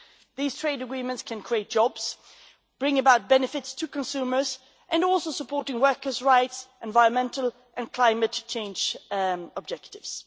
These trade agreements can create jobs, bring about benefits to consumers and also support workers' rights and environmental and climate change objectives.